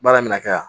Baara mina kɛ yan